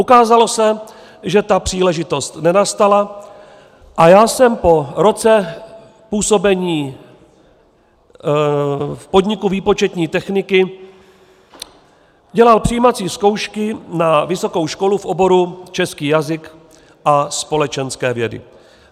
Ukázalo se, že ta příležitost nenastala, a já jsem po roce působení v podniku výpočetní techniky dělal přijímací zkoušky na vysokou školu v oboru český jazyk a společenské vědy.